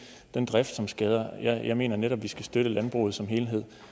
den drift som skader jeg mener netop vi skal støtte landbruget som helhed